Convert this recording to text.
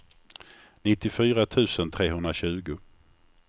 nittiofyra tusen trehundratjugo